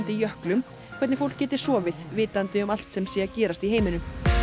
jöklum hvernig fólk geti sofið vitandi um allt sem sé að gerast í heiminum